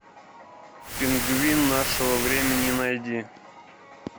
пингвин нашего времени найди